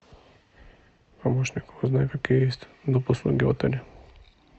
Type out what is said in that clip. помощник узнай какие есть доп услуги в отеле